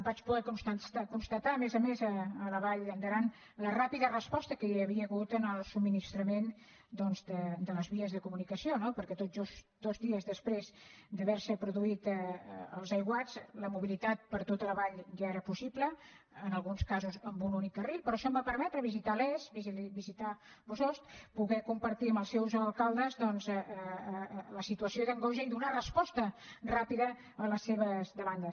vaig poder constatar a més a més a la vall d’aran la ràpida resposta que hi havia hagut en el subministrament doncs de les vies de comunicació no perquè tot just dos dies després d’haver se produït els aiguats la mobilitat per tota la vall ja era possible en alguns casos amb un únic carril però això em va permetre visitar les visitar bossost poder compartir amb els seus alcaldes doncs la situació d’angoixa i donar resposta ràpida a les seves demandes